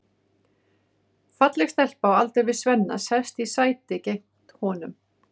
Falleg stelpa á aldur við Svenna sest í sæti gegnt honum.